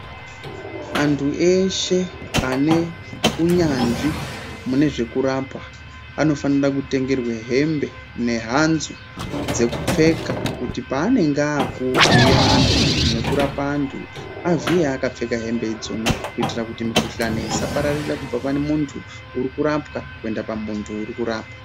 Antu eshe ane unyanzvi mune zvekurapa anofanira kutengerwe hembe nehanzu dzekupfeka kuti paanenge akuvhiya antu nekurapa antu avhiye akapfeka hembe idzona. Kuitira kuti mukuhlani isapararira kubva pane muntu uri kurapwa kuenda pamuntu uri kurapa.